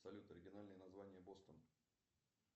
салют оригинальное название бостон